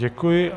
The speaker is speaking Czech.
Děkuji.